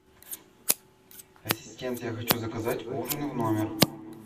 ассистент я хочу заказать ужин в номер